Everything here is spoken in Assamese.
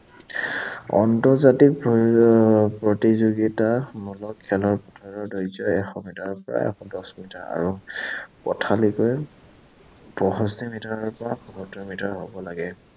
আন্তৰ্জাতিক প্ৰতিযোগিতাসমূহক খেলৰ পথাৰৰ দৈৰ্ঘ্য এশ মিটাৰৰ পৰা এশ দহ মিটাৰ আৰু পথালিকৈ পয়ষষ্ঠী মিটাৰৰ পৰা পয়সত্তৰ মিটাৰ হʼব লাগে।